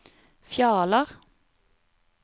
Fjaler